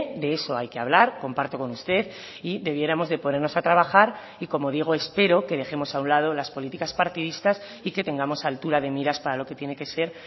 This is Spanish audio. de eso hay que hablar comparto con usted y debiéramos de ponernos a trabajar y como digo espero que dejemos a un lado las políticas partidistas y que tengamos altura de miras para lo que tiene que ser